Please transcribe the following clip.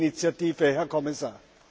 Danke für die Initiative, Herr Kommissar!